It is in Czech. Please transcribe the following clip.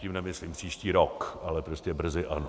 Tím nemyslím příští rok, ale prostě brzy ano.